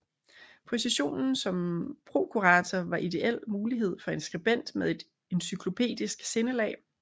Positionen som prokurator var ideel mulighed for en skribent med et encyklopedisk sindelag